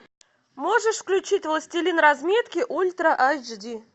можешь включить властелин разметки ультра айч ди